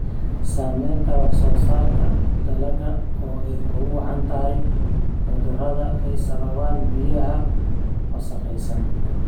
Saamaynta wax-soo-saarka dalagga oo ay ugu wacan tahay cudurrada ay sababaan biyaha wasakhaysan.